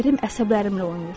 Ərim əsəblərimlə oynayır.